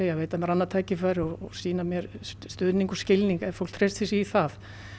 að veita mér annað tækifæri og sýna mér stuðning og skilning ef fólk treystir sér í það